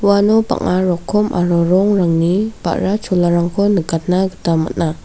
uano bang·a rokom aro rongrangni ba·ra cholarangko nikatna gita man·a.